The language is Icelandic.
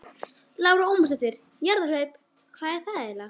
Lára Ómarsdóttir: Jarðhlaup, hvað er það eiginlega?